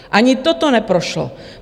Ani toto neprošlo.